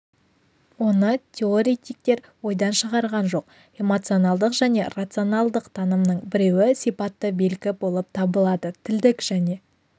оны теоретиктер ойдан шығарған жоқ эмоционалдық және рационалдық танымның біреуі сипатты белгі болып табылады тілдік және